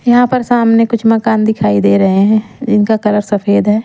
यहां पर सामने कुछ मकान दिखाई दे रहें हैं जिनका कलर सफेद है।